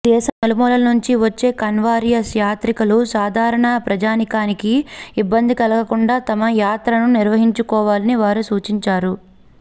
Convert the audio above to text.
దేశం నలుమూలల నుంచి వచ్చే కన్వారియస్ యాత్రికులు సాధారణ ప్రజానీకానికి ఇబ్బంది కలగకుండా తమ యాత్రను నిర్వహించుకోవాలని వారు సూచించారు